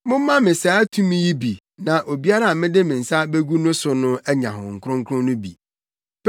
“Momma me saa tumi yi bi na obiara a mede me nsa begu no so no anya Honhom Kronkron no bi.”